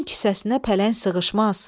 Un kisəsinə pələng sığışmaz.